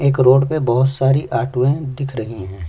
एक रोड में बहुत सारी ऑटोए दिख रही हैं।